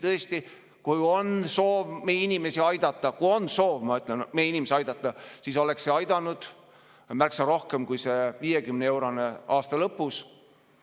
Tõesti, kui on soov meie inimesi aidata – kui on soov, ma ütlen, meie inimesi aidata –, siis oleks see aidanud märksa rohkem kui see 50‑eurone toetus aasta lõpus.